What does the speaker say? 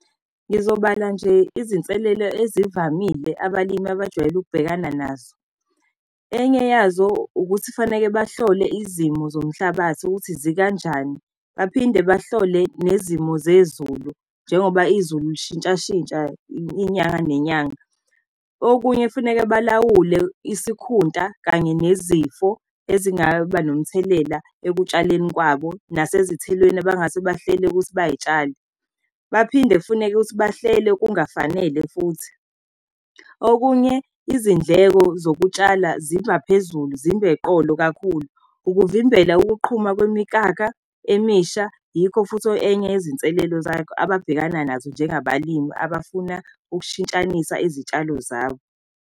Ngizobala nje izinselelo ezivamile abalimi abajwayele ukubhekana nazo. Enye yazo ukuthi kufaneke bahlole izimo zomhlabathi ukuthi zikanjani, baphinde bahlole nezimo zezulu. Njengoba izulu lishintsha-shintsha inyanga nenyanga. Okunye kufuneke balawule isikhunta kanye nezifo ezingaba nomthelela ekutshaleni kwabo nasezithelweni abangase bahlele ukuthi bayay'tshala. Baphinde kufuneke ukuthi bahlele kungafanele futhi. Okunye, izindleko zokutshala zibaphezulu zibe y'qolo kakhulu, ukuvimbela ukuqhuma kwemikakha emisha. Yikho futhi enye yezinselelo zakho ababhekana nazo njengabalimi, abafuna ukushintshanisa izitshalo zabo.